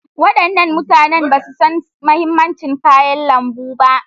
Wadannan mutane ba su san mahimmancin kayan lambu ba.